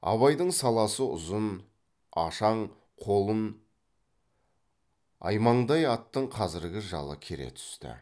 абайдың саласы ұзын ашаң қолын аймаңдай аттың қазіргі жалы кере түсті